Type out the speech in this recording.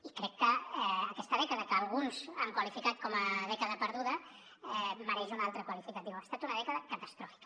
i crec que aquesta dècada que alguns han qualificat com a dècada perduda mereix un altre qualificatiu ha estat una dècada catastròfica